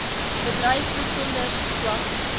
bedryf besonder swak